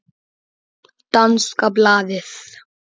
Danska blaðið